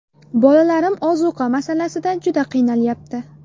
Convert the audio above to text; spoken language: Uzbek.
Bolalarim ozuqa masalasida juda qiynalyapti.